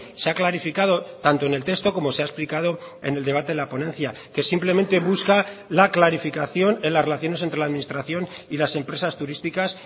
se ha clarificado tanto en el texto como se ha explicado en el debate de la ponencia que simplemente busca la clarificación en las relaciones entre la administración y las empresas turísticas